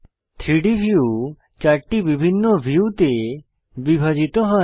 3ডি ভিউ ৪টি বিভিন্ন ভিউতে বিভাজিত হয়